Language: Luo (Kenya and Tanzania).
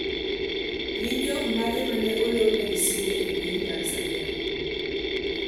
Gin jomage ma ne olorne gi simbe e piny Tanzania?